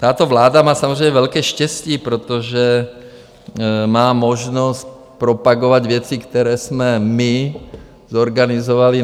Tato vláda má samozřejmě velké štěstí, protože má možnost propagovat věci, které jsme my zorganizovali.